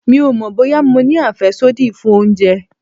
Mi ò mọ̀ bóyá mo ní àfẹ́sódì fún oúnjẹ.